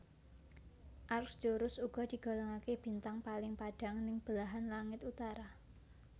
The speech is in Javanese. Arcturus uga digolongaké bintang paling padhang ning belahan langit utara